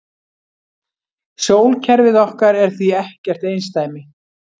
Sólkerfið okkar er því ekkert einsdæmi.